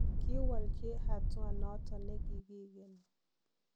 Kiwoljii hatua noton negigigeni.